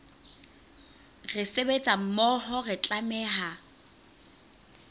re sebetsa mmoho re tlameha